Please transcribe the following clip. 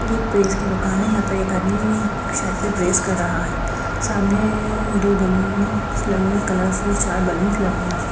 ये एक प्रेस की दुकान है यहां पर एक आदमी शर्ट पे प्रेस कर रहा है सामने दो बैलूंस लगे हुए हैं कलरफुल चार बैलूंस लगे हुए हैं।